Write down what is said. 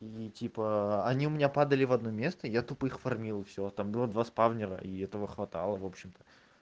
и типа они у меня падали в одно место я тупо их фармил и всё а там было два спавнера и этого хватало в общем-то